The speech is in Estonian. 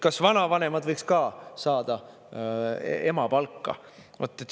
Kas vanavanemad võiks ka saada emapalka?